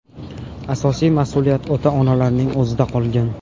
Asosiy mas’uliyat ota-onalarning o‘zida qolgan.